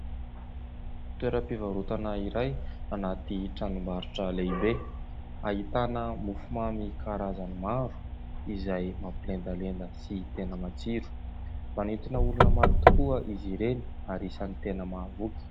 Toeram-pivarotana iray anaty tranombarotra lehibe ahitana mofomamy karazany maro, izay mampilendalenda sy tena matsiro ; manintona olona maro tokoa izy ireny ary isan'ny tena mahavoky.